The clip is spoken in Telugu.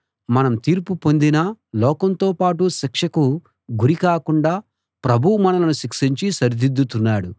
మనం తీర్పు పొందినా లోకంతో పాటు శిక్షకు గురి కాకుండా ప్రభువు మనలను శిక్షించి సరిదిద్దుతున్నాడు